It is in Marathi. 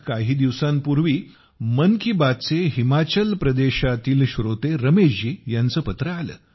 काही दिवसांपूर्वी मला मन की बातचे हिमाचल प्रदेशातील श्रोते रमेश जी यांचे पत्र आले